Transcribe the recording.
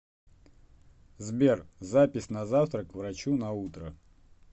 сбер запись на завтра к врачу на утро